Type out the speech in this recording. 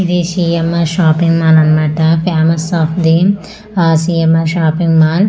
ఇది CMR. Shopping mall అన్నమాట famous shop ఇది ఆ సి.ఏం.ఆర్. Shopping mall .